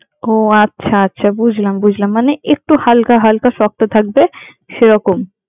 ও আচ্ছা আচ্ছা বুঝলাম বুঝলাম মানে একটু হালকা হালকা শক্ত থাকবে সেরকম।